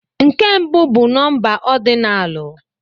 Nke mbụ bụ nọmba ọdinalu